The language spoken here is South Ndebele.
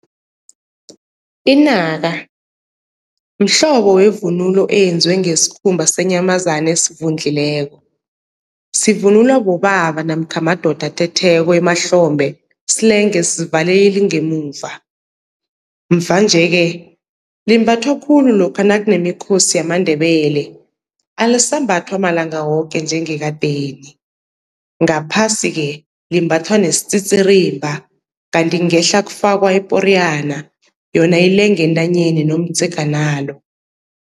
Inaka mhlobo wevunulo eyenziwe ngesikhumba senyamazana esivundlileko, sivunulwa bobaba namkha madoda athetheko emahlombe silenge sivale ilingemuva. Mvanje-ke limbathwa khulu lokha nakunemikhosi yamaNdebele alisambathwa malanga woke njengekadeni. Ngaphasi-ke limbathwa nesititirimba kanti ngehla kufakwa iporiyana yona ilenge entanyeni nomdzeganalo.